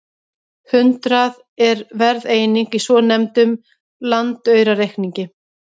Hundrað er verðeining í svonefndum landaurareikningi.